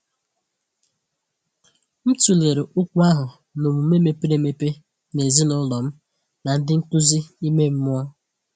M tụlere okwu ahụ n’ọmume mepere emepe na ezinụlọ m na ndị nkuzi ime mmụọ.